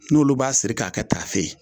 N'olu b'a siri k'a kɛ tafe ye